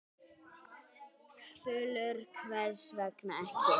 Þulur: Hvers vegna ekki?